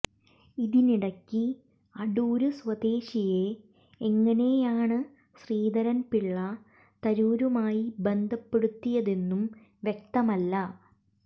ഇതിനിടയ്ക്ക് അടൂര് സ്വദേശിയെ എങ്ങനെയാണ് ശ്രീധരൻ പിള്ള തരൂരുമായി ബന്ധപ്പെടുത്തിയതെന്നും വ്യക്തമല്ല